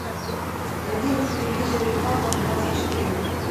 найди на телевизоре хабар двадцать четыре